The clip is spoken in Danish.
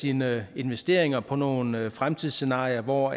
sine investeringer på nogle fremtidsscenarier hvor